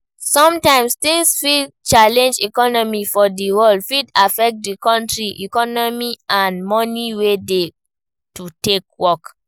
Sometimes things fit change, economy for di world fit affect di country economy and money wey dey to take work